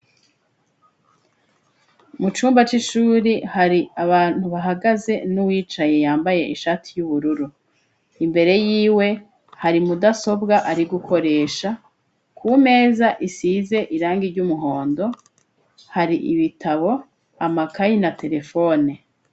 Mu cumba c'ishuri hari abantu bahagaze n'uwicaye yambaye ishati y'ubururu. Imbere y'iwe, hari mudasobwa ari gukoresha, ku meza isize irangi ry'umuhondo, hari ibitabo, amakayi na terefone.